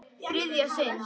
Þriðja sinn.